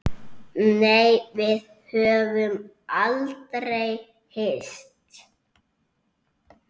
Nei, við höfum aldrei hist.